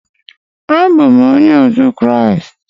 Abụ m onye otu Kraịst.